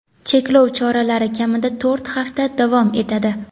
cheklov choralari kamida to‘rt hafta davom etadi.